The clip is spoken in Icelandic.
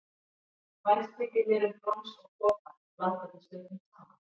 Vænst þykir mér um brons og kopar, blanda því stundum saman.